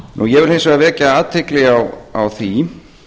ég vil hins vegar vekja athygli á því